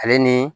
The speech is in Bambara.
Ale ni